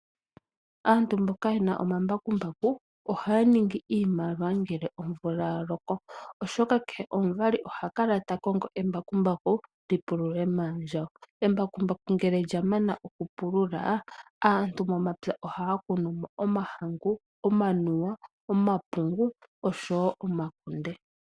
Aantu mboka yena omambakumbaku ohaya ningi iimaliwa ngele omvula yaloko oshoka kehe omuvali oha kala takongo embakumbaku li pulule maandjawo. Embakumbaku ngele lyamana okupulula aantu momapya ohaya kunumo omahangu, omanuwa, omapungu oshowo omakunde.